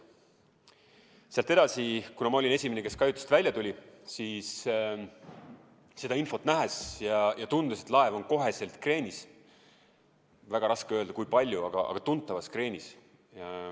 Sealt edasi, kuna ma olin esimene, kes kajutist välja tuli, siis tundus mulle seda kõike nähes, et laev on kohe kreenis – väga raske öelda, kui palju –, aga tuntavas kreenis.